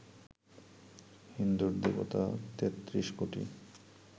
হিন্দুর দেবতা তেত্রিশ কোটি